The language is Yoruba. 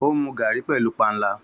Ó ń mu garrí pẹ̀lú panla.